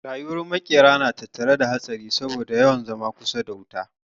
Rayuwar makera na tattare da hatsari saboda yawan zama kusa da wuta